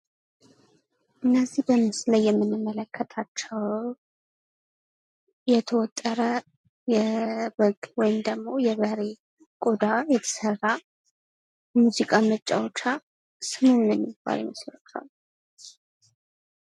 እነዚህ በምስሉ ላይ የምንመለከታቸው የተወጠረ የበግ ወይም ደግሞ የበሬ ቆዳ የተሰራ ሙዚቃ መጫወቻ ስሙ ምን የሚባል ይመስላችኋል?